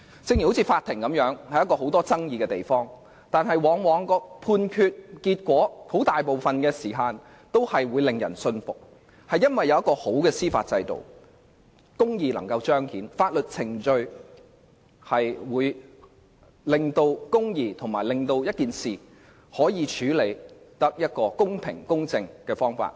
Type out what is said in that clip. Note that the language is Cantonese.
正如在法庭上，雖然有很多爭議，但判決大多令人信服，這是因為有良好的司法制度，以致公義能夠彰顯，有關事宜可按法律程序得到公平公正的處理。